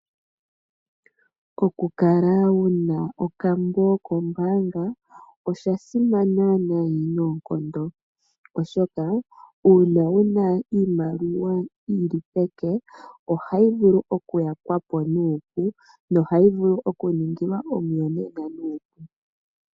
Okukala wuna okambo kombaanga oshasimana nayi noonkondo oshoka uuna wuna iimaliwa yili peke ohayi vulu okuyakwapo nuupu nohayi vulu oku ningilwa omu yonena nuupu.